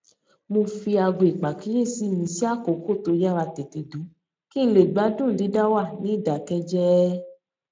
mo fi aago ìpàkíyèsí mi sí àkókò tó yára tètè dún kí n lè gbádùn dídá wà ní ìdákéjéé